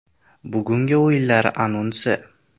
Bugungi o‘yinlar anonsi.